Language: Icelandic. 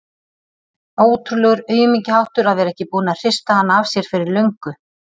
Ótrúlegur aumingjaháttur að vera ekki búinn að hrista hana af sér fyrir löngu.